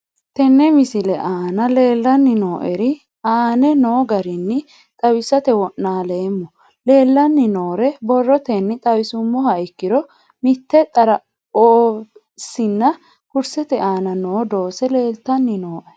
Tene misile aana leelanni nooerre aane noo garinni xawisate wonaaleemmo. Leelanni nooerre borrotenni xawisummoha ikkiro mitte xaraphoheesinna kursete aana noo doose leeltanni nooe.